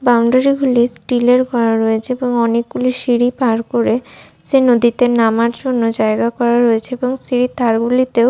boundary গুলি steel -এর করা রয়েছে এবং অনেকগুলো সিঁড়ি পার করে সে নদীতে নামার জন্য জায়গা করা রয়েছে এবং সিঁড়ির ধার গুলিতেও--